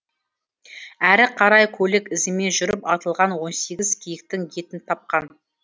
әрі қарай көлік ізімен жүріп атылған он сегіз киіктің етін тапқан